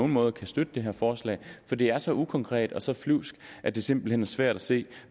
måde kan støtte det her forslag for det er så ukonkret og så flyvsk at det simpelt hen er svært at se